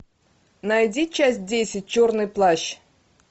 найди часть десять черный плащ